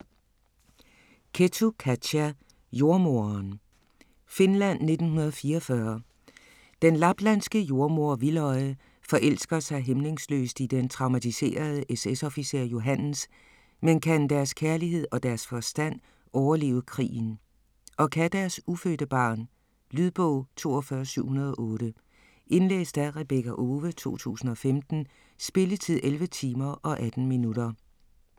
Kettu, Katja: Jordemoderen Finland 1944. Den laplandske jordemoder Vildøje forelsker sig hæmningsløst i den traumatiserede SS-officer Johannes, men kan deres kærlighed og deres forstand overleve krigen? Og kan deres ufødte barn? Lydbog 42708 Indlæst af Rebekka Owe, 2015. Spilletid: 11 timer, 18 minutter.